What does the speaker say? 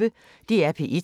DR P1